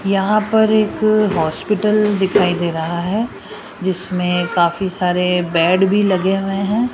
यहां पर एक हॉस्पिटल दिखाई दे रहा है जिसमें काफी सारे बेड भी लगे हुए हैं।